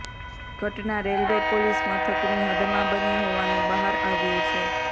ઘટના railway police મથકની હદમાં બની હોવાનું બહાર આવ્યું છે